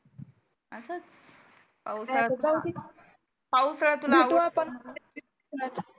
पावसाळ्यात जाऊ कि पावसाळ्यात भेटू आपण